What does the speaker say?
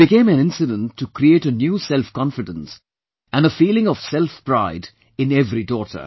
It became an incident to create a new selfconfidence and a feeling of self pride in every daughter